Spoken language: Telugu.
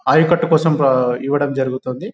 ఆయకట్టు కోసం ఆ ఇవ్వడం జరుగుతుంది.